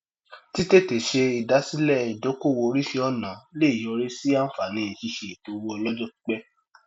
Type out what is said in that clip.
títètè ṣe ìdásílẹ ìdókowò oríṣi ọnà le yọrí sí àǹfààní ṣíṣe ètò owó ọlọjọ pípẹ